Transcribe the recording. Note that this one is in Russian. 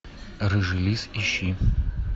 рыжий лис ищи